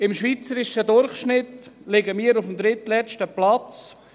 Im schweizerischen Durchschnitt liegen wir auf dem drittletzten Platz.